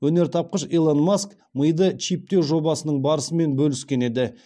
өнертапқыш илон маск миды чиптеу жобасының барысымен бөліскен еді